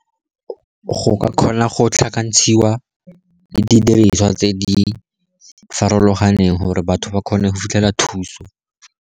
Go ka kgona go tlhakantshiwa didiriswa tse di farologaneng gore batho ba kgone go fitlhela thuso.